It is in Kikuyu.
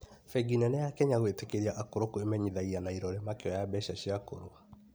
Bengi nene ya Kenya gwĩtĩkĩria akũrũ kwĩmenyithagia na irore makĩoya mbeca cĩa akũrũ